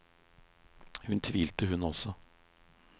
Hun tvilte hun også.